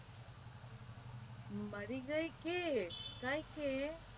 મરી જઈશ કૈક